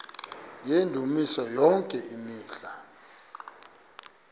yendumiso yonke imihla